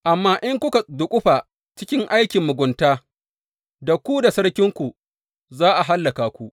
Amma in kuka duƙufa cikin aikin mugunta da ku da sarkinku za a hallaka ku.